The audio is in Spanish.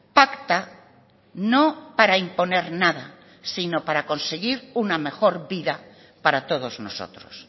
pacta no para imponer nada sino para conseguir una mejor vida para todos nosotros